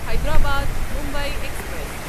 Hyderabad Mumbai express